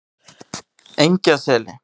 Engjaseli